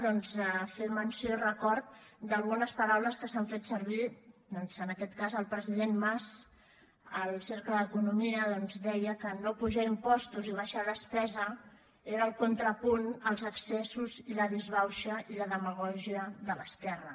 doncs fer menció i record d’algunes paraules que s’han fet servir en aquest cas el president mas al cercle d’economia doncs deia que no apujar impostos i abaixar despesa era el contrapunt als excessos i la disbauxa i la demagògia de l’esquerra